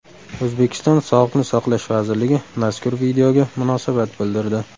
O‘zbekiston Sog‘liqni saqlash vazirligi mazkur videoga munosabat bildirdi .